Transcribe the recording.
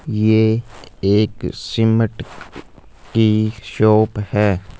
ये एक सीमेंट की शॉप है।